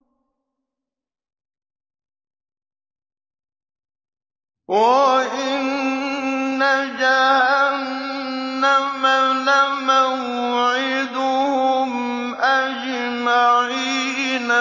وَإِنَّ جَهَنَّمَ لَمَوْعِدُهُمْ أَجْمَعِينَ